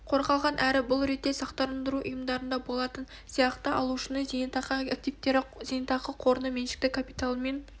қорғалған әрі бұл ретте сақтандыру ұйымдарында болатын сияқты алушының зейнетақы активтері зейнетақы қорының меншікті капиталымен